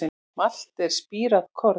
Malt er spírað korn.